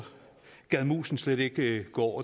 gad musen slet ikke gå